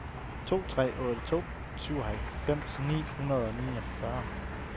to tre otte to syvoghalvfems ni hundrede og fireogfyrre